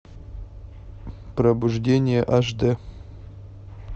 пробуждение аш дэ